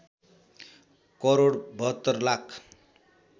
crore ७२ lakh